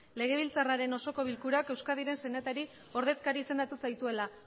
legebiltzarraren osoko bilkurak euskadiren senatari ordezkari izendatu zaituela